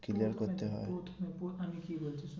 Clear করতে হয় আমি কি বলছি শোন